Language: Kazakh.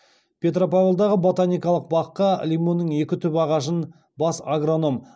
петропавлдағы ботаникалық баққа лимонның екі түп ағашын бас агроном